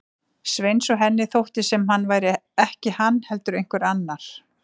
Sveins og henni þótti sem hann væri ekki hann heldur einhver annar.